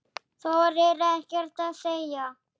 Þorir ekkert að segja.